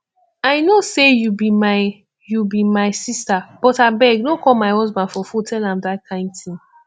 i know say you be my you be my sister but abeg no call my husband for phone tell am dat kin thing